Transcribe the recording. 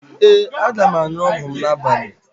Ee, aga m aṅụ ọgwụ m n'abalị